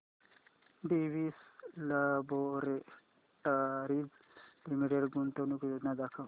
Divi's laboratories limited गुंतवणूक योजना दाखव